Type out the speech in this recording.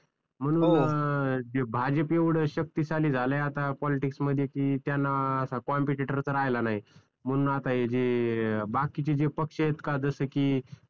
म्हणून भाजप एवढं शक्तिशाली झालाय आता पॉलिटिक्स मध्ये कि त्यांना आता कंपेटिटोर च राहिला नाही म्हणून आता हे जे बाकीचे जे पक्ष आहेत का जस कि